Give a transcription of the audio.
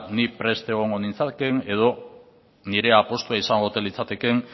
ni prest egongo nintzakeen edo nire apustua izango ote litzatekeen